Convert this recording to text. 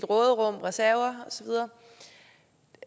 råderum reserver